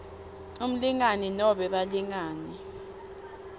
umlingani nobe balingani